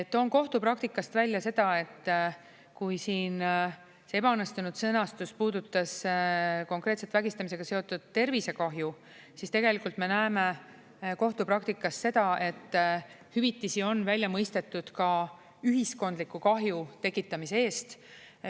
Toon kohtupraktikast välja, et kui siin see ebaõnnestunud sõnastus puudutas konkreetselt vägistamisega seotud tervisekahju, siis tegelikult me näeme kohtupraktikas seda, et hüvitisi on välja mõistetud ka ühiskondliku kahju tekitamise eest.